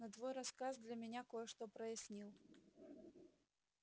но твой рассказ для меня кое что прояснил